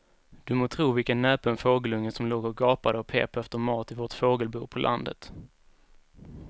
Du må tro vilken näpen fågelunge som låg och gapade och pep efter mat i vårt fågelbo på landet.